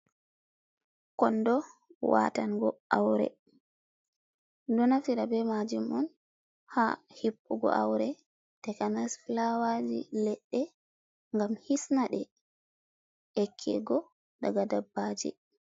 Kondo watango aure, min ɗo naftira be majum on ha hippugo aure takanas filawaji, leɗɗe, gam hisna ɗe yakkigo daga dabbaji.